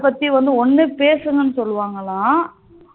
அத பத்தி ஒண்ணு பேசுங்கணு சொல்லுவாங்கலாம்